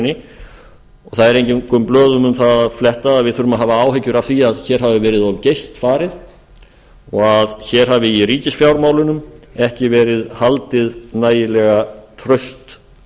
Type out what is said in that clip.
það er engum blöðum um það að fletta að við þurfum að hafa áhyggjur af því að hér hafi verið of geyst farið og hér hafi í ríkisfjármálunum ekki verið haldið nægilega traust